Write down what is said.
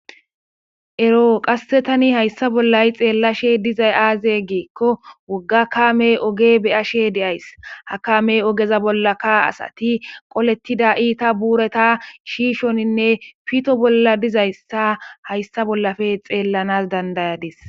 Ero qasse tani hayssa bollay xeellashe dizay aaze giikko wogga kamey oge beyashe deyays ha kamey ogeza bolla ka asati qolettida iita buureta shiishoninne pito bolla dizayssa hayssa bollafe xeellanas dandayadis